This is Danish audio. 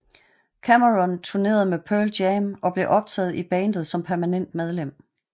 Cameron turnerede med Pearl Jam og blev optaget i bandet som permanent medlem